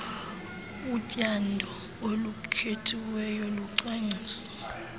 utyando olukhethiweyo lucwangciswa